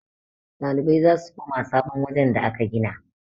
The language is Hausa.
ɗalibai za su koma sabon wajen da aka gina